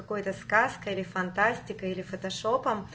какой-то сказкой фантастикой или фотошопом